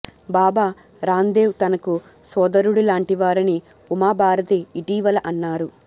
బాబా రాందేవ్ తనకు సోదరుడి లాంటివారని ఉమా భారతి ఇటీవల అన్నారు